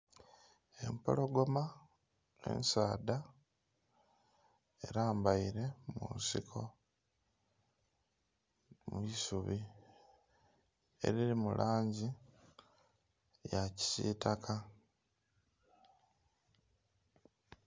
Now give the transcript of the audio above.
Empologoma ensaadha erambaire mu nsiko mwisubi erili mu langi eya kisitaka.